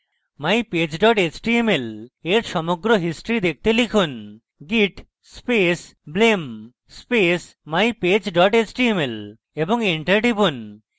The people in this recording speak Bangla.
mypage html এর সমগ্র history দেখতে লিখুন: git space blame space mypage html এবং enter টিপুন